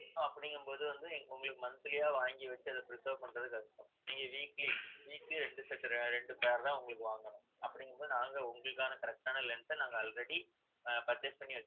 அப்படிங்கும்போது வந்து, உங்களுக்கு monthly ஆ வாங்கி வச்சு அதை preserve பண்றது கஷ்டம் நீங்க weekly weekly ரெண்டு set ரெண்டு pair தான் உங்களுக்கு வாங்கணும் அப்படிங்கும்போது நாங்க உங்களுக்கான correct ஆன lens அ நாங்க already ஆ purchase பண்ணி